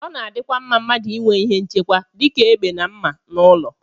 Ọ na-adịkwa mma mmadụ inwe ihe nchekwa dị ka egbe na mma n'ụlọ